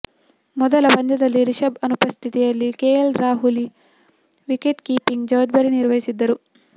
ಮೊದಲ ಪಂದ್ಯದಲ್ಲಿ ರಿಷಬ್ ಅನುಪಸ್ಥಿತಿಯಲ್ಲಿ ಕೆಎಲ್ ರಾಹುಲಿ ವಿಕೆಟ್ ಕೀಪಿಂಗ್ ಜವಾಬ್ದಾರಿ ನಿರ್ವಹಿಸಿದ್ದರು